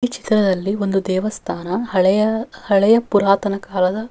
ಈ ಚಿತ್ರದಲ್ಲಿ ಒಂದು ದೇವಸ್ಥಾನ ಹಳೆಯ ಹಳೆಯ ಪುರಾತನ ಕಾಲದ--